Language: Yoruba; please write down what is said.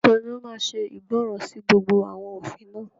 Taló máa ṣe ìgbọràn sí gbogbo àwọn òfin náà?